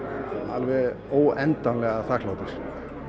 alveg óendanlega þakklátur